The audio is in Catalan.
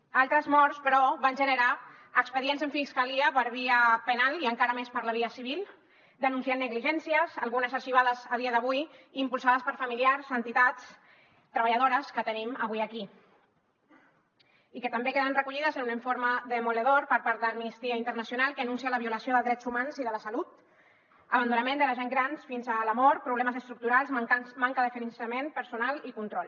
altres morts però van generar expedients en fiscalia per via penal i encara més per la via civil denunciant negligències algunes arxivades a dia d’avui impulsades per familiars entitats treballadores que tenim avui aquí i que també queden recollides en un informe demolidor per part d’amnistia internacional que anuncia la violació de drets humans i de la salut abandonament de la gent gran fins a la mort problemes estructurals manca de finançament personal i control